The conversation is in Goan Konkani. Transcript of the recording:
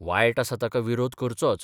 वायट आसा ताका विरोध करचोच.